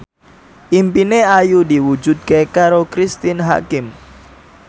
impine Ayu diwujudke karo Cristine Hakim